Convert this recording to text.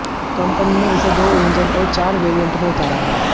company ने इसे दो इंजन और चार वेरिएंट में उतारा है